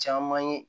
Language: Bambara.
Caman ye